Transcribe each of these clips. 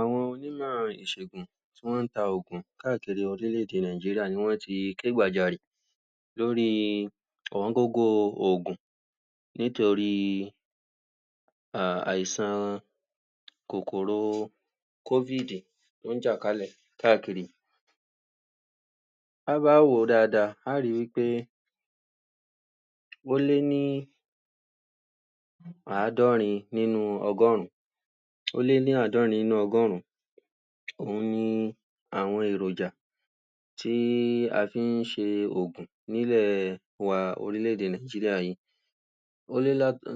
Àwọn union ìsègùn, tí wọ́n ta ògùn káàkiri orílẹ̀-èdè Nàìjíríì, ni wọ́n ti ké gbàjarì lórí gbogbo ògùn nítorí um àìsàn kòkòrò covid tó ń jà kálẹ̀ káàkiri. Ta bá wò ó dáadáa, à ri wí pé ó lé ní àádọ́rin nínú ọgọ́rùn-ún ó lé ní àádọ́rin nínú ọgọ́rùn-ún òun ni àwọn èròjà, tí a ṣe ń ṣe ògùn n'ílẹ̀ wan ní orílẹ̀-èdè wa Nàìjíríì yìí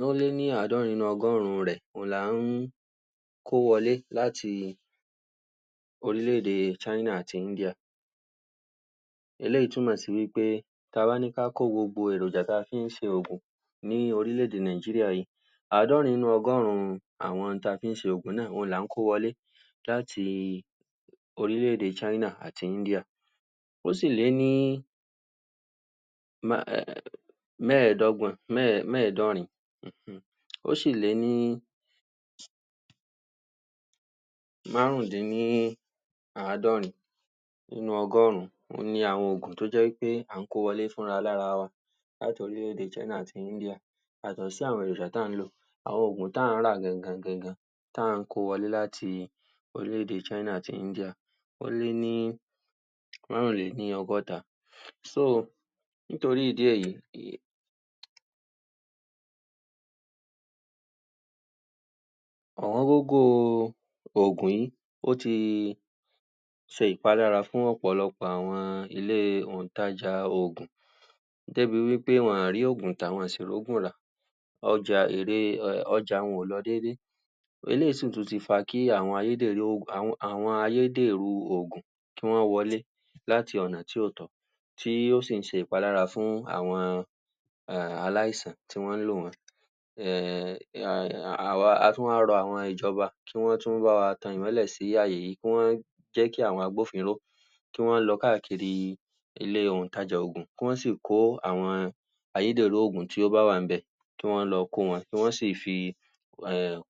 ó lé ní àádọ́rin nínú ọgọ́rùn-ún rẹ̀, òun la ń kó wọlé láti orílẹ̀-èdè China àti India. Eléyìí túmọ̀ sí wí pé, ta bá ní ká kó gbogbo èròjà ta fi ń ṣe ògùn ní orílẹ̀-èdè Nàìjíríì yìí àádọ́rin nínú ọgọ́run àwọn ohun tí a fi ń ṣe ògùn náà ni à ń kó wọlé láti orílẹ̀-èdè China àti India. Ó sì lé ní mẹ́ẹ̀dọ́gbọ̀n, mẹ́ẹ̀dọ́rin Ó sì lé ní márùndínní àádọ́rin nínú ọgọ́run ni àwọn ògùn tó jẹ́ pé à ń kó wọlé fúnra-alára-wa láti orílẹ̀-èdè China àti India. Yàtọ̀ sí àwọn èròjà tí à ń lò àwọn ògùn tí à ń rà gan-an-gan tí à ń kó wọlẹ́ láti orílẹ̀-èdè China àti India, ó lé ní, ọrinlọ́gọ́ta nítorí ìdí èyí àwọn ògùn yìí, ó ti ṣe ìpalára fún ọ̀pọ̀lọpọ̀ ilé-òǹtajà ògùn débi pé wọn ò rógùn tà, wọn ò sì rógùn rà ọjà, èrè um ọjà wọn ò lọ déédé eléyìí sí tùn ti fa kí àwọn ayédèrú ògùn kí wọ́n wọlé láti ọ̀nà tí ò tọ̀nà tí ó ń si ṣe ìpalára fún àwọn um aláìsàn, tí wọ́n lò wọ́n a tún wá ran ìjọba kí wọ́n bá wa tan ìmọ́lẹ̀ sí àyè yìí, kí wọ́n jẹ́ kí àwọn agbófinró tí wọ́n lọ káàkiri ilé òǹtajà ògùn, kí wọ́n sì kó àwọn ayédèrú ògùn tí ó bá wà ní bẹ́, kí wọ́n lọ kó wọn, kí wọ́n si fi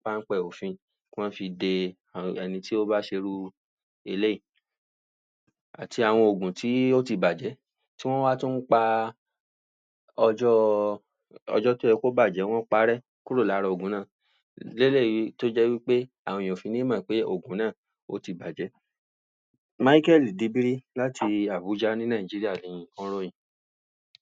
páńpẹ́ òfin kí wọ́n fi de, ẹni tí ó bá ṣe irú eléyìí àti àwọn ògùn tí ó ti bàjẹ́ tọ́ wá tún wá ọjọ́ọ́ ọjọ́ tí ó yẹ kí o bàjẹ́, wọ́n páré kúrò nínú ògùn náà lélèyí tó jé wí pé, àwọn èèỳn ò fi ní mọ̀ pé ògùn náà ó ti bàjẹ́. Micheal Debere láti Abuja ní Nààjíríà, Micheal Debere láti Abuja ní ìlú Nààjíríà